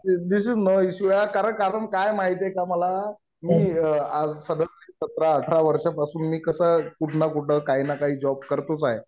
This is no issue यार. कारण काय माहितीये का मला मी सतरा अठरा वर्षांपासून मी कसं कुठं ना कुठं काही ना काही जॉब करतोच आहे.